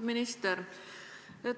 minister!